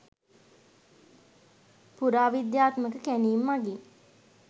පුරාවිද්‍යාත්මක කැණීම් මගින්